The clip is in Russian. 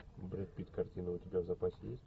брэд питт картины у тебя в запасе есть